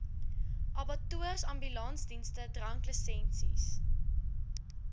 abattoirs ambulansdienste dranklisensies